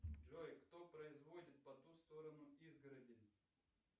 джой кто производит по ту сторону изгороди